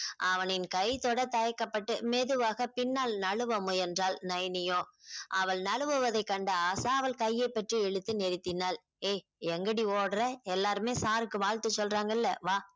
அவனின் கை தொட தயக்கப்பட்டு மெதுவாக பின்னால் நழுவ முயன்றால் நயனியோ அவள் நழுவவதை கண்ட ஆஷா அவள் கையை பற்றி இழுத்து நிறுத்தினாள் ஏய் எங்க டி ஒடுற எல்லாருமே sir க்கு வாழ்த்து சொல்றாங்க இல்ல வா